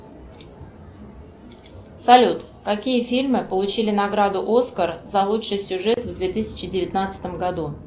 салют какие фильмы получили награду оскар за лучший сюжет в две тысячи девятнадцатом году